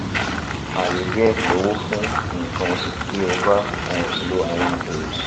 aye die lowo fun nkan osu ti o ba um lo awon ogun